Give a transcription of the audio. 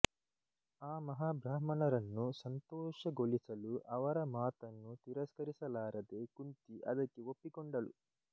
ಆ ಮಹಾಬ್ರಾಹ್ಮಣರನ್ನು ಸಂತೋಷಗೊಳಿಸಲು ಅವರ ಮಾತನ್ನು ತಿರಸ್ಕರಿಸಲಾರದೆ ಕುಂತಿ ಅದಕ್ಕೆ ಒಪ್ಪಿಕೊಂಡಳು